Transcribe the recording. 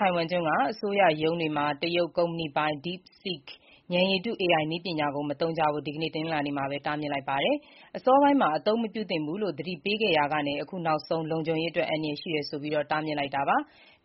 ိုင်ဝမ်ကျွန်းက အစိုးရရုံးတွေမှာ တရုတ်ကုမ္ပဏီပိုင် DeepSeek ဉာဏ်ရည်တု (AI) နည်းပညာကို မသုံးကြဖို့ ဒီကနေ့ တနင်္လာနေ့မှာ တားမြစ်လိုက်ပါတယ်။ အစောပိုင်းမှာ အသုံးမပြုသင့်ဘူးလို့ သတိပေးခဲ့ရာက အခုနောက်ဆုံး လုံခြုံရေးအတွက်အန္တရာယ်ရှိတယ်ဆိုပြီး တားမြစ်လိုက်တာပါ။